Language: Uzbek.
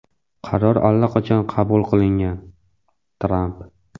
qaror allaqachon qabul qilingan – Tramp.